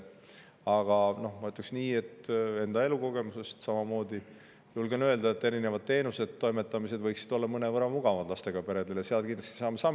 Aga ütleksin nii – julgen seda enda elukogemuse põhjal öelda –, et erinevad teenused ja toimetamised võiksid olla lastega peredele mõnevõrra mugavamad, selles vallas saame kindlasti samme astuda.